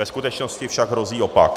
Ve skutečnosti však hrozí opak.